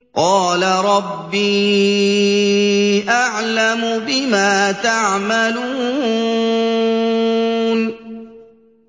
قَالَ رَبِّي أَعْلَمُ بِمَا تَعْمَلُونَ